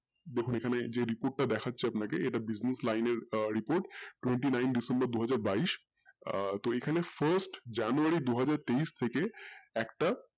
দেখুন এই খানে যেই report টা দেখাচ্ছে ইটা নাকি business line এর report twenty nine december দুহাজার বাইশ আহ তো এইখানে first january দুহাজার তেইশ থেকে একটা